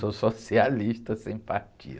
Sou socialista sem partido.